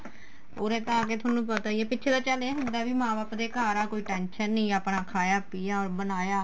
ਉਰੇ ਤਾਂ ਆ ਕੇ ਤੁਹਾਨੂੰ ਪਤਾ ਈ ਏ ਪਿੱਛੇ ਤਾਂ ਚੱਲ ਇਹ ਹੁੰਦਾ ਕੀ ਮਾਂ ਬਾਪ ਦੇ ਘਰ ਆ ਕੋਈ tension ਨੀ ਆਪਣਾ ਖਾਇਆ ਪੀਆ ਬਣਾਇਆ